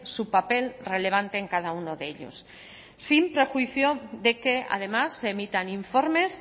su papel relevante en cada uno de ellos sin prejuicio de que además se emitan informes